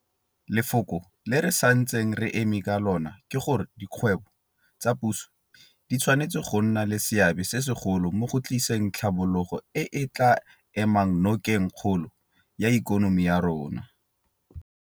Lefoko le re santseng re eme ka lona ke gore dikgwebo tsa puso di tshwanetse go nna le seabe se segolo mo go tliseng tlhabologo e e tla emang nokeng kgolo ya ikonomi ya rona.